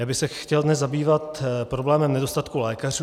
Já bych se chtěl dnes zabývat problémem nedostatku lékařů.